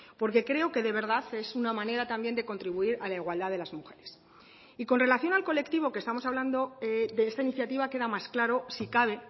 porque creo que de verdad es una manera también de contribuir a la igualdad de las mujeres y con relación al colectivo que estamos hablando de esta iniciativa queda más claro si cabe